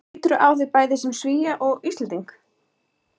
Lýturðu á þig bæði sem Svía og Íslending?